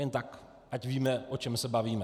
Jen tak ať víme, o čem se bavíme.